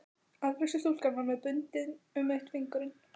Afgreiðslustúlkan var með bundið um einn fingurinn.